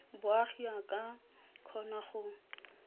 boagi a ka kgona go